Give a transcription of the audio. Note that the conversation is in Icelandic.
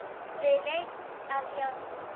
Við leit að járni